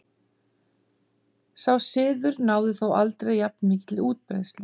Sá siður náði þó aldrei jafn mikilli útbreiðslu.